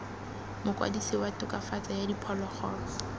mokwadise wa tokafatso ya diphologolo